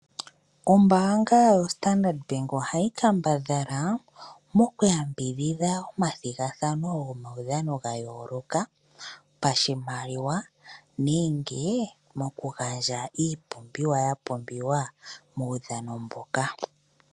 Ombaanga yo Standard Bank ohayi kambadhala mokuyambidhidha omathigathano gopudhano ga yooloka pashimaliwa nenge mokugandja iipumbiwa ya pumbiwa muudhano mboka.